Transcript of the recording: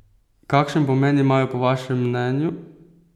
Kakšen pomen imajo po vašem mnenju?